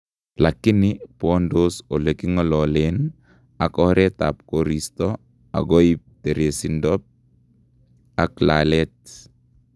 Lakini bwandos eleking'ololen ak oretab koristo akoib teresindo ak laalet